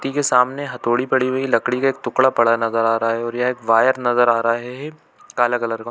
व्यक्ति के सामने हथोड़ी पड़ी हुई है लकड़ी का एक टुकड़ा पड़ा हुआ नज़र आ रहा है और यहाँ एक वायर नज़र आ रहा है काला कलर का--